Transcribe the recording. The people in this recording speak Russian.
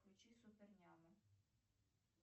включи супер няму